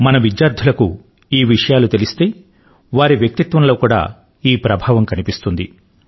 మన విద్యార్థులకు ఈ విషయాలు తెలిస్తే వారి వ్యక్తిత్వం లో కూడా ఈ ప్రభావం కనిపిస్తుంది